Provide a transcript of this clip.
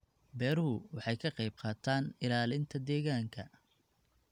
Beeruhu waxay ka qayb qaataan ilaalinta deegaanka.